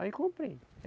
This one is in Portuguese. Aí comprei.